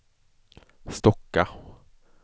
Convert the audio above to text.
Stocka